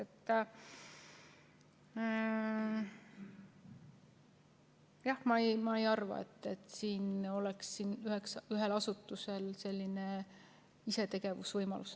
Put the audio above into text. Nii et jah, ma ei arva, et siin oleks ühel asutusel selline isetegevuse võimalus.